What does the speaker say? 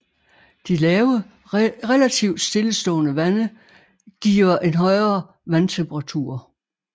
Det lave relativt stillestående vande giver en højere vandtemperatur